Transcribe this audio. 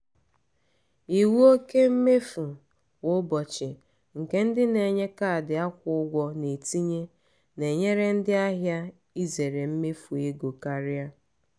iwu oke mmefu kwa ụbọchị nke ndị na-enye kaadị akwụ ụgwọ na-etinye na-enyere ndị ahịa izere imefu ego karịa.